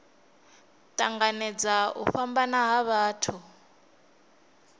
tanganedza u fhambana ha vhathu